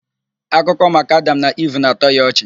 Akụkọ maka Adam na Iv na-atọ ya ọchị